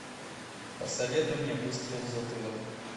посоветуй мне выстрел в затылок